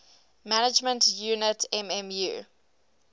management unit mmu